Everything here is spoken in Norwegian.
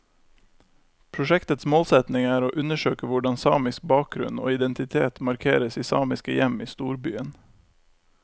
Prosjektets målsetning er å undersøke hvordan samisk bakgrunn og identitet markeres i samiske hjem i storbyen.